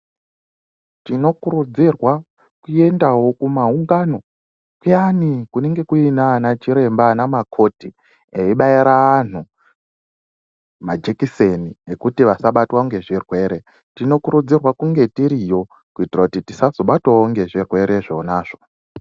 Tinokurudzirwa kuendao kumaungano kuyani kunenge kuinana chiremba ana makoti eibaira anthu majekiseni ekuti vasabatwe nezvirwere tinokurudzirwa kunga tiriyo kuitira kuti tisazobatwao ngezvirwere zvonazvo.